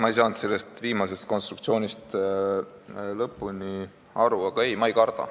Ma ei saanud sellest viimasest konstruktsioonist lõpuni aru, aga ei, ma ei karda.